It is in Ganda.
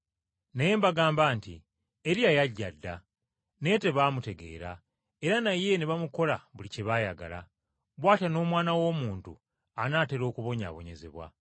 Naye mbagamba nti, Eriya yajja dda, naye tebaamutegeera, era naye ne bamukola buli kye baayagala. Bw’atyo n’Omwana w’Omuntu anaatera okubonyaabonyezebwa.”